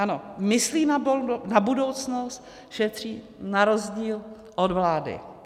Ano, myslí na budoucnost, šetří na rozdíl od vlády.